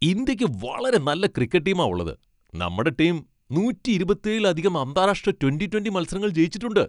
ഇന്ത്യയ്ക്ക് വളരെ നല്ല ക്രിക്കറ്റ് ടീമാ ഉള്ളത്. നമ്മടെ ടീം നൂറ്റി ഇരുപത്തിയേഴിലധികം അന്താരാഷ്ട്ര ട്വന്റി ട്വന്റി മത്സരങ്ങൾ ജയിച്ചിട്ടുണ്ട്.